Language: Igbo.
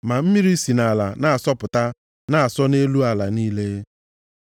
ma mmiri si nʼala na-asọpụta na-asọ nʼelu ala niile.